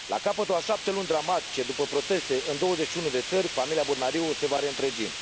La capătul a șapte luni dramatice, după proteste în douăzeci și unu de țări, familia Botnariu se va reîntregi.